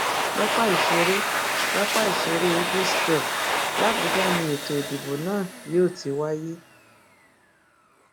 pápá ìṣeré pápá ìṣeré eagle square làbújá ni ètò ìdìbò náà yóò ti wáyé